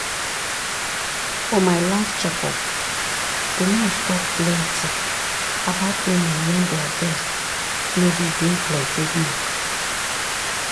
for my last check up the nurse talk plenty about women wen their breast nor dey bring plenty milk.